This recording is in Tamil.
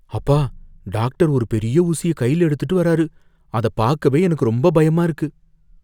அப்பா, டாக்டர் ஒரு பெரிய ஊசிய கைல எடுத்துட்டு வராரு. அத பாக்கவே எனக்கு ரொம்ப பயமா இருக்கு.